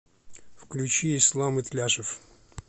включи ислам итляшев